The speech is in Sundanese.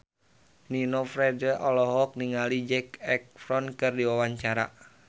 Nino Fernandez olohok ningali Zac Efron keur diwawancara